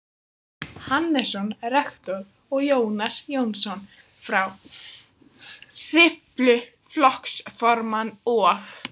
Hannesson rektor og Jónas Jónsson frá Hriflu flokksformann og